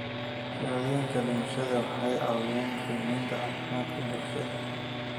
Shahaadooyinka dhimashada waxay caawiyaan qiimaynta caafimaadka bulshada.